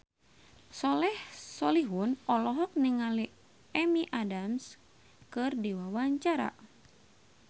Soleh Solihun olohok ningali Amy Adams keur diwawancara